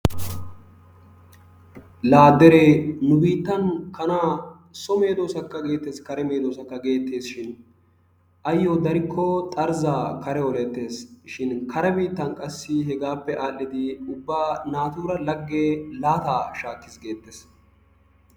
laa deree nu biittan kanaa so medoosakka geetees, kare medoosakka geetees, shin ayoodarikko xarzzaa kare oleetees, shin kare biitaan qassi hegaappe aadhidi ubba naatura lage laataa shaakkees geetees.